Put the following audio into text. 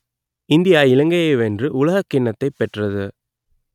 India இலங்கையை வென்று உலகக்கிண்ணத்தைப் பெற்றது